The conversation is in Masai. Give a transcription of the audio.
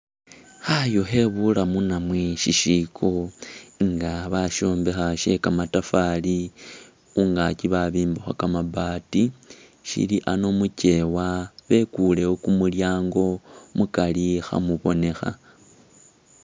Khayu khe bulamu namwe shishiko nga basyombekha sye kamatafari, khungaki babimbakho kamabaati, syili ano mukyeewa bekuulewo kumulyango mukari khamubonekha.